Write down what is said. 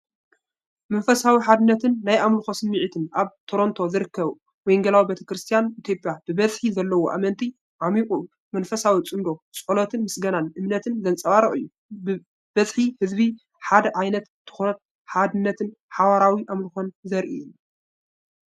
መንፈሳዊ ሓድነትን ናይ ኣምልኾ ስምዒትን ኣብ ቶሮንቶ ዝርከብ ወንጌላዊት ቤተ ክርስቲያን ኢትዮጵያ ብዝሒ ዘለዎም ኣመንቲ፡ ዓሚቝ መንፈሳዊ ጽምዶ ጸሎትን ምስጋናን እምነትን ዘንጸባርቕ እዩ። ብዝሒ ህዝቢን ሓደ ዓይነት ትኹረትን ሓድነትን ሓባራዊ ኣምልኾን ዘርኢ እዩ።